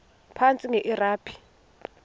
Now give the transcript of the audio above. phantsi enge lrabi